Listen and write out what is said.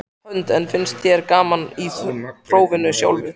Hödd: En finnst þér gaman í prófinu sjálfu?